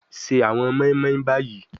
Se awọn moinmoin bayi